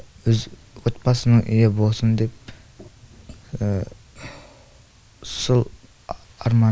өз отбасымның үйі болсын деп сол арманым